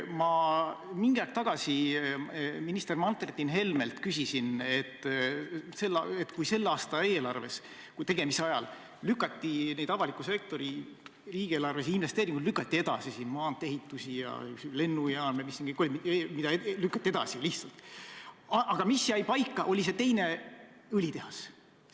Ma mingi aeg tagasi minister Martin Helmelt küsisin selle kohta, et tänavuse eelarve tegemise ajal lükati avaliku sektori riigieelarvelisi investeeringuid edasi – maantee-ehitused, lennujaam ja mis kõik veel lihtsalt lükati edasi –, aga mis paika jäi, see oli teine õlitehas.